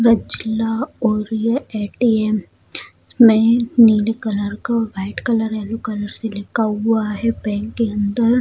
और ये ए.टी.एम. इसमें नीले कलर का व्हाइट कलर यैलो कलर से लिखा हुआ है बैंक के अंदर --